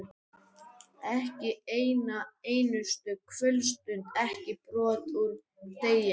Ekki eina einustu kvöldstund, ekki brot úr degi.